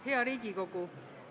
Hea Riigikogu!